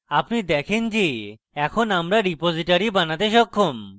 আপনি দেখেন যে এখন আমরা repository বানাতে সক্ষম